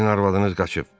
Sizin arvadınız qaçıb.